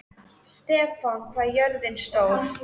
Stefana, hvað er jörðin stór?